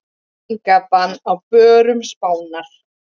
Reykingabann á börum Spánar